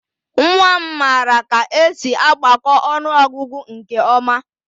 Nwa m maara ka esi agbakọ ọnụọgụgụ nke ọma